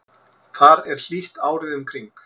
þar er hlýtt árið um kring